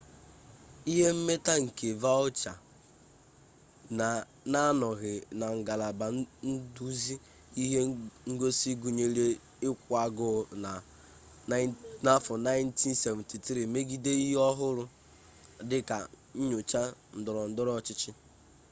ihe mmeta nke vautier na-anọghị na ngalaba nduzi ihe ngosi gụnyere ịkwụ agụụ na 1973 megide ihe ọ hụrụ dị ka nnyocha ndọrọndọrọ ọchịchị